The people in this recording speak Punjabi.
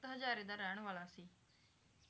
ਤਖ਼ਤ ਹਜਾਰੇ ਦਾ ਰਹਿਣ ਵਾਲਾ ਸੀ